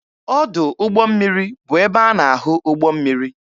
Ọdụ ụgbọ mmiri bụ ebe a na-ahụ ụgbọ mmiri.